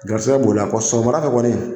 Garisigɛ b'o la, kɔ sɔgɔmada fɛ kɔni.